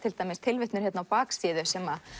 tilvitnun á baksíðu sem